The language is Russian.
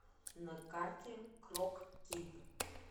на карте крокид